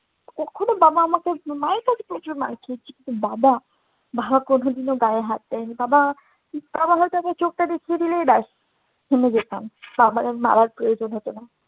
কখনো বাবা আমাকেও মায়ের কাছে প্রচুর মার খেয়েছি। কিন্তু বাবা কোনদিন কিন্তু গায়ে হাত দেয়নি। বাবা~ বাবা হয়তো আমায় চোখটা দেখিয়ে দিলেই ব্যাস থেমে যেতাম। বাবার আর মারার প্রয়োজন হতো না।